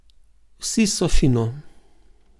Vsi so fino.